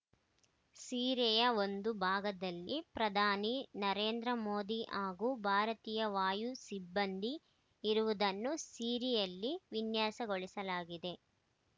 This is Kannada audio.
ಈ ಸೀರೆಯ ಒಂದು ಭಾಗದಲ್ಲಿ ಪ್ರಧಾನಿ ನರೇಂದ್ರಮೋದಿ ಹಾಗೂ ಭಾರತೀಯ ವಾಯು ಸಿಬ್ಬಂದಿ ಇರುವುದನ್ನು ಸೀರೆಯಲ್ಲಿ ವಿನ್ಯಾಸಗೊಳಿಸಲಾಗಿದೆ